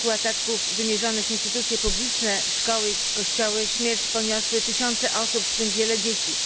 w wyniku ataków wymierzonych w instytucje publiczne, szkoły i kościoły śmierć poniosły tysiące osób, w tym wiele dzieci.